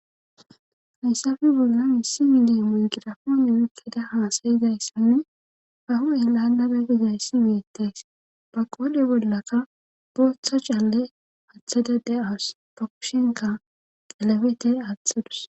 Hayssafe bolla missi mide mungirafoone mukkeda haasayizayssanne haho elandada gizayssi wuyetteys ba qoole bollaka booththa caalle athada de7awus fakushenka qalabete athadus.